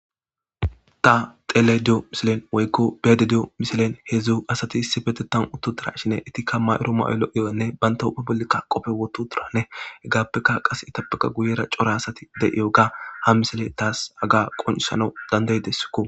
ta tele diyo misilen woykko bede diyo misilen hedzu asati issi betetan uttotura shine etikka ma7uro ma7olo7iyo7onne banta hupa bolikka qofe woto turanne hegaappekka qase itapaka guyera cora asati de7iyo ga ha misile taas aga qonsana dandayidessikko